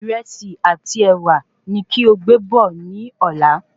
Ìrẹsì àti ẹ̀wà ni kí o gbé bọ̀ ni Ọ̀la